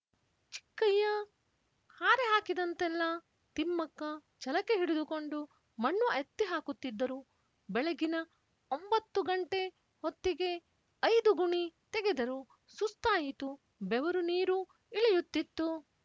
ಚಿಕ್ಕಯ್ಯ ಹಾರೆ ಹಾಕಿದಂತೆಲ್ಲ ತಿಮ್ಮಕ್ಕ ಛಲಕೆ ಹಿಡಿದುಕೊಂಡು ಮಣ್ಣು ಎತ್ತಿಹಾಕುತ್ತಿದ್ದರು ಬೆಳಗಿನ ಒಂಬತ್ತು ಗಂಟೆ ಹೊತ್ತಿಗೆ ಐದು ಗುಣಿ ತೆಗೆದರು ಸುಸ್ತಾಯಿತು ಬೆವರು ನೀರು ಇಳಿಯುತ್ತಿತ್ತು